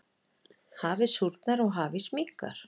Hafið súrnar og hafís minnkar.